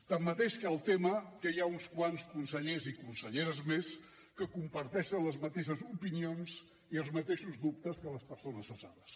tanmateix hi ha uns quants consellers i conselleres més que comparteixen les mateixes opinions i els mateixos dubtes que les persones cessades